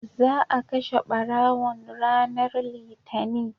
za a kashe ɓarawon ranar litani